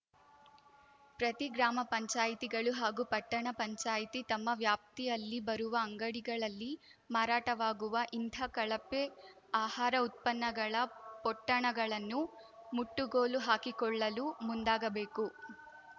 ಪ್ರತಿ ಗ್ರಾಮ ಪಂಚಾಯಿತಿಗಳು ಹಾಗೂ ಪಟ್ಟಣ ಪಂಚಾಯಿತಿ ತಮ್ಮ ವ್ಯಾಪ್ತಿಯಲ್ಲಿ ಬರುವ ಅಂಗಡಿಗಳಲ್ಲಿ ಮಾರಾಟವಾಗುವ ಇಂಥ ಕಳಪೆ ಆಹಾರ ಉತ್ಪನ್ನಗಳ ಪೊಟ್ಟಣಗಳನ್ನು ಮುಟ್ಟುಗೋಲು ಹಾಕಿಕೊಳ್ಳಲು ಮುಂದಾಗಬೇಕು